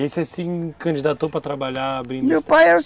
E aí você se candidatou para trabalhar abrindo meu pai